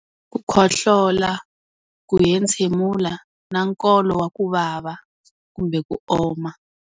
Ku khohlola, ku hentshemula, na nkolo wa ku vava, kumbe ku oma.